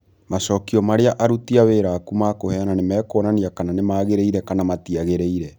Macokio marĩa aruti a wĩra aku mekũheana, nĩ mekuonania kana nĩ magĩrĩire kana matiagĩrĩire.